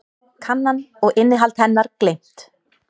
Kannan og innihald hennar gleymt.